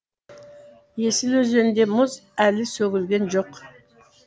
есіл өзенінде мұз әлі сөгілген жоқ